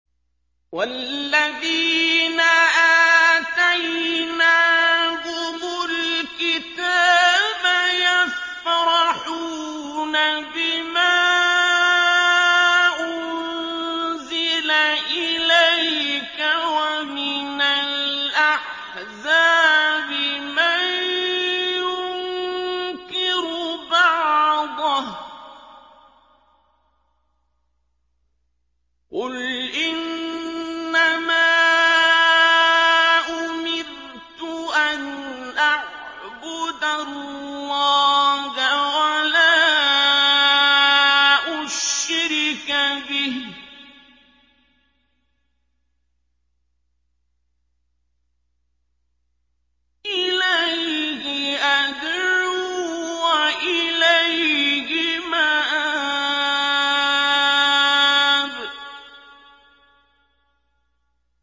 وَالَّذِينَ آتَيْنَاهُمُ الْكِتَابَ يَفْرَحُونَ بِمَا أُنزِلَ إِلَيْكَ ۖ وَمِنَ الْأَحْزَابِ مَن يُنكِرُ بَعْضَهُ ۚ قُلْ إِنَّمَا أُمِرْتُ أَنْ أَعْبُدَ اللَّهَ وَلَا أُشْرِكَ بِهِ ۚ إِلَيْهِ أَدْعُو وَإِلَيْهِ مَآبِ